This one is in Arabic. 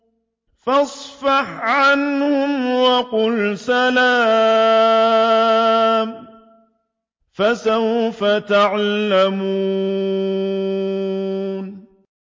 فَاصْفَحْ عَنْهُمْ وَقُلْ سَلَامٌ ۚ فَسَوْفَ يَعْلَمُونَ